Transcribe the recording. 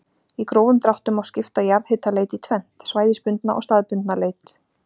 Í grófum dráttum má skipta jarðhitaleit í tvennt, svæðisbundna og staðbundna leit.